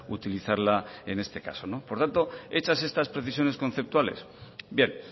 utilizarla en este caso por tanto hechas estas precisiones conceptuales bien